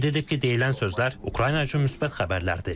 Qeyd edib ki, deyilən sözlər Ukrayna üçün müsbət xəbərlərdir.